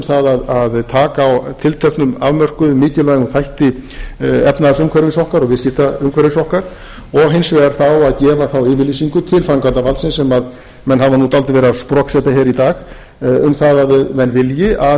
það að taka á tilteknum afmörkuðum mikilvægum þætti efnahagsumhverfis okkar og viðskiptaumhverfis okkar og hins vegar þá að gefa þá yfirlýsingu til framkvæmdarvaldsins sem menn hafa nú dálítið verið að sproksett hér í dag um það að menn vilji að